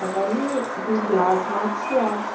Aí vai no, dos lados, mais dos lados.